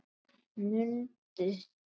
Mundi það.